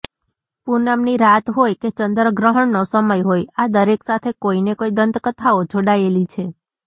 પૂનમની રાત હોય કે ચંદ્રગ્રહણનો સમય હોય આ દરેક સાથે કોઇને કોઇ દંતકથાઓ જોડાયેલી છે